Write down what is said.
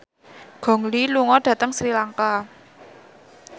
Gong Li lunga dhateng Sri Lanka